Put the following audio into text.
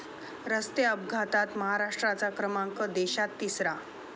रस्ते अपघातात महाराष्ट्राचा क्रमांक देशात तिसरा!